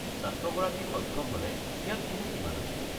ছাত্ৰগৰাকী সক্ষম হ'লে ইয়াত কোনো সীমা নাই।